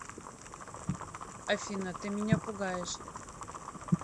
афина ты меня пугаешь